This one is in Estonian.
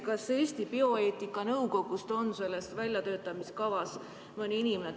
Kas näiteks Eesti bioeetika nõukogust on keegi selles kava väljatöötamises osalenud?